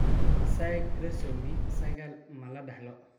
Mosaika trisomy sagal ma la dhaxlo?